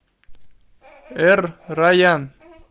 эр райян